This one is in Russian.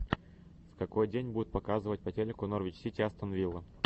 в какой день будут показывать по телеку норвич сити астон вилла